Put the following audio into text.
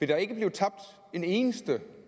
vil der ikke blive tabt en eneste